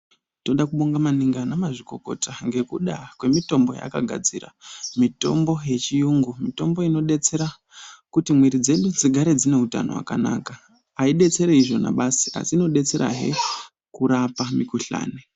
Toda kubonga maningi ana mazvikokota ngekuda kwemitombo yaakagadzira. Mitombo yechiyungu, mitombo inodetsera kuti mwiri dzedu dzigare dzine utano wakanaka. Aidetseri izvona basi asi inodetserahe kurapa mikhuhlani.